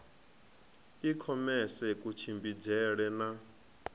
i khomese ya kutshimbidzele na